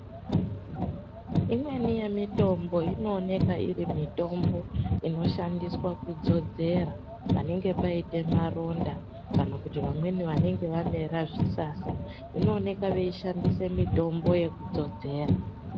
Imweni yemitombo inooneka iri mitombo inoshandiswa kudzodzera panenge paita maronda kana kuti vamweni vanenge vamera zvisasa inooneka veishandisa mitombo yekudzodzera.